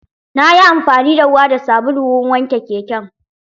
Nayi amfani da ruwa da sabulu wurin wanke keken